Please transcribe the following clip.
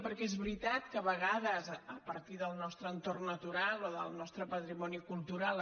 perquè és veritat que a vegades a partir del nostre entorn natural o del nostre patrimoni cultural